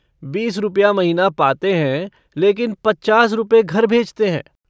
बीस रुपया महीना पाते हैं लेकिन पचास रुपये घर भेजते हैं।